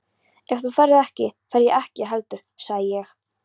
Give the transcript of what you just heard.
Ef þú ferð ekki, fer ég ekki heldur sagði ég.